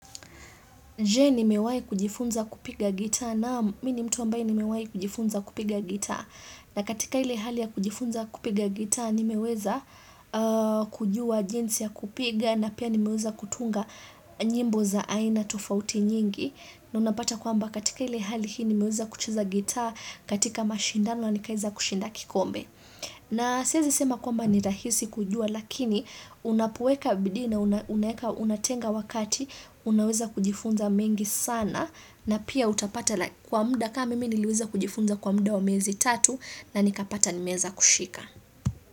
Je ni mewai kujifunza kupiga gita naam mi ni mtu wambai ni mewai kujifunza kupiga gita na katika ile hali ya kujifunza kupiga gita ni meweza kujua jinsi ya kupiga na pia nimeweza kutunga nyimbo za aina tofauti nyingi na unapata kwamba katika ile hali hii ni meweza kucheza gita katika mashindano na nikaeza kushinda kikombe. Na siezi sema kwamba nirahisi kujua lakini unapueka bidii na unatenga wakati unaweza kujifunza mengi sana na pia utapata kwa mda kama mimi niliweza kujifunza kwa mda wa miezi tatu na nikapata nimeeza kushika.